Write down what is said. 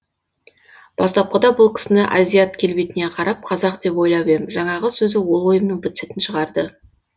бастапқыда бұл кісіні азият келбетіне қарап қазақ деп ойлап ем жаңағы сөзі ол ойымның быт шытын шығарды